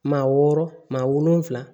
Maa wɔɔrɔ maa wolonfila